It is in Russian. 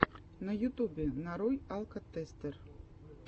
на ютубе нарой алкотестер